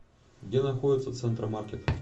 где находится центра маркет